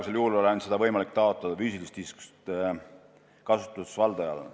Seni on olnud võimalik seda taotleda ainult füüsilisest isikust kasutusvaldajal.